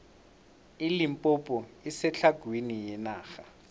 ilimpompo isetlhagwini yenarha